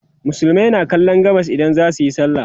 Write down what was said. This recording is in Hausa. musulmai na kallon gabas idan zasuyi sallah